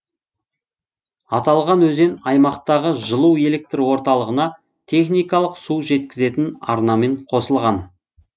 аталған өзен аймақтағы жылу электр орталығына техникалық су жеткізетін арнамен қосылған